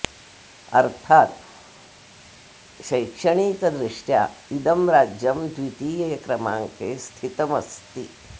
अर्थात् शैक्षणिकदृष्ट्या इदं राज्यं द्वितीये क्रमाङ्के स्थितम् अस्ति